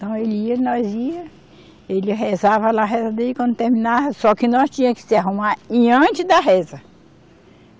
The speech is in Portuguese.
Então, ele ia, nós ia, ele rezava lá a reza dele e quando terminava, só que nós tínhamos que se arrumar antes da reza.